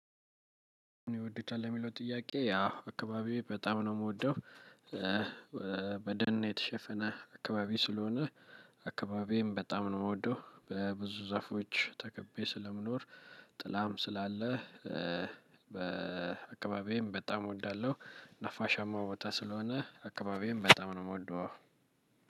ይወዱታል ለሚለው ጥያቄ ያው አካባቢዬ በጣም ነው የምወደው። በደን የተሸፈነ አካባቢ ስለሆነ። አካባቢዬም በጣም ነው የምወደው በብዙ ዛፎች ተከብቤ ስለምኖር። ጥላም ስላለ በአካባቢዬም በጣም እወዳለሁ። ነፋሻማ ቦታ ስለሆነ አካባቢም በጣም ነው የምወደው።